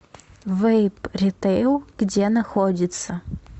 вэйп ритэйл где находится